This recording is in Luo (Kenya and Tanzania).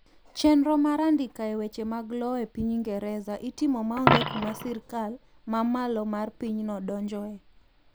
chenro mar andika e weche mag lowo e piny ingereza itimo maonge kuma sirkal mamalo mar pinyno donjoe